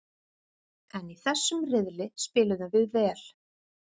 En í þessum riðli spiluðum við vel.